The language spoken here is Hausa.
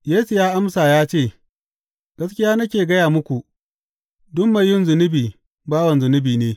Yesu ya amsa ya ce, Gaskiya nake gaya muku, duk mai yin zunubi bawan zunubi ne.